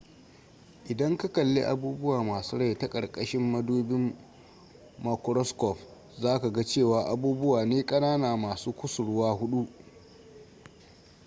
idan ka kalli abubuwa masu rai ta ƙarƙashin madubin makuroskof za ka ga cewa abubuwa ne ƙanana masu kusurwa huɗu